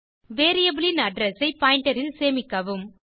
variable ன் address ஐ pointer ல் சேமிக்கவும்